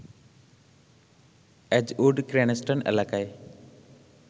Edgewood Cranston এলাকায়